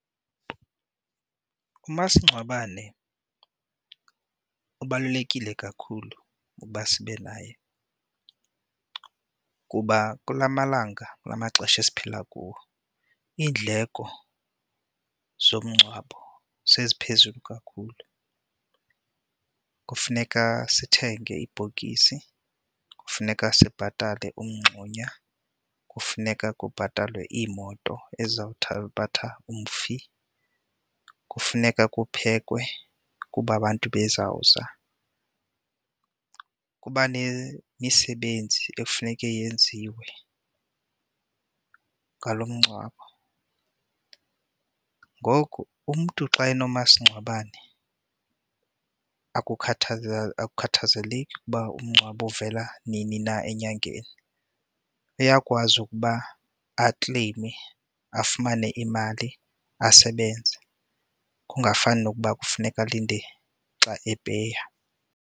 Umasingcwabane ubalulekile kakhulu ukuba sibe naye kuba kula malanga, kula maxesha esiphila, kuwo iindleko zomngcwabo seziphezulu kakhulu. Kufuneka sithenge ibhokisi, kufuneka sibhatale umngxunya, kufuneka kubhatalwe iimoto ezizawuthabatha umfi, kufuneka kuphekwe kuba abantu bezawuza. Kuba nemisebenzi ekufuneka yenziwe ngalo mngcwabo, ngoku umntu xa enomasingcwabane akukhathazeleki umngcwabo uvela nini na enyangeni. Uyakwazi ukuba akleyime afumane imali asebenze, kungafani nokuba kufuneka alinde xa epeya.